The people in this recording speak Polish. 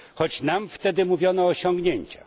Choć nam wtedy mówiono o osiągnięciach.